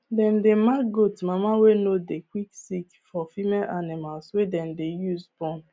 dem dey mark goat mama wey no dey quick sick for female animals wey dem dey use born